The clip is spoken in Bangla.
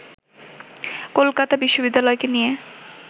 কলকাতা বিশ্ববিদ্যালয়কে নিয়ে